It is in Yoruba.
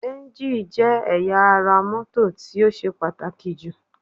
Ẹ́ńjì jẹ́ ẹ̀yà ara mọ́tò tí ó ṣe pàtàkì jù